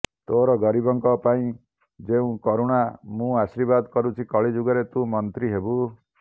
ତୋର ଗରିବଙ୍କ ପାଇଁ ଯେଉଁ କରୁଣା ମୁଁ ଆଶୀର୍ବାଦ କରୁଛି କଳିଯୁଗରେ ତୁ ମନ୍ତ୍ରୀ ହେବୁ